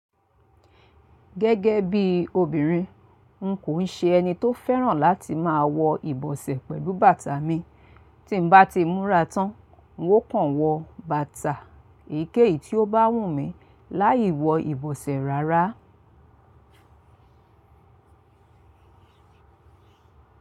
Gẹ́gẹ́ bí obìnrin, n kò ṣe ẹni tó fẹ́ràn láti máa wọ ìbọsẹ̀ pẹ̀lú bàtà mi. Tí n bá ti múra tán, n ó kàn wọ bàtà èyíkéyìí tí ó bá wù mí láì wọ ìbọsẹ̀ rárá.